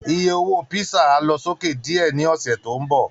Iye owó písà á lọ sókè díẹ̀ ní ọ̀sẹ̀ tó ń bọ̀